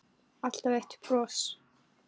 Alltaf eitt bros.